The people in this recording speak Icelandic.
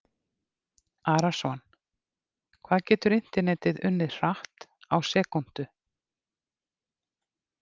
Arason Hvað getur internetið unnið hratt á sekúndu?